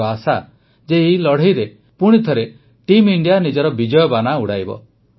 ମୋର ଆଶା ଯେ ଏହି ଲଢ଼େଇରେ ପୁଣିଥରେ ଟିମ୍ ଇଣ୍ଡିଆ ନିଜର ବିଜୟବାନା ଉଡ଼ାଇବ